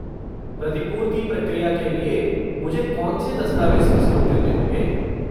प्रतिपूर्ति प्रक्रिया के लिए, मुझे कौन से दस्तावेज़ प्रस्तुत करने होंगे?